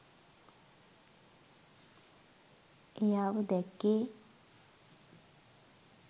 එයාව දැක්කේ?